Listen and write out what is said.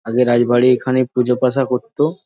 আগে রায়বাড়ী এইখানে পুজোপাশা করতো।